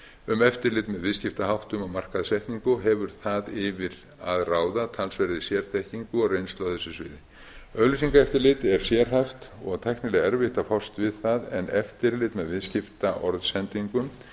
um eftirlit með viðskiptaháttum og markaðssetningu og hefur það yfir að ráða talsverðri sérþekkingu og reynslu á þessu sviði auglýsingaeftirlit er sérhæft og tæknilega erfitt að fást við það en eftirlit með viðskiptaorðsendingum